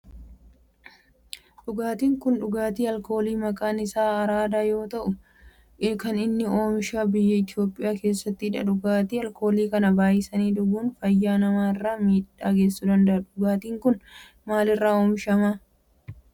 Dhugaatiin kun dhugaatii alkoolii maqaan isaa Araadaa yoo ta'u kan inni oomishamu biyya Itiyoophiyaa keessattidha. Dhugaatii alkoolii kana baayisanii dhuguun fayyaa nama irraan miidhaa geessisuu danda'a. Dhugaatin kun maal irraa oomishama?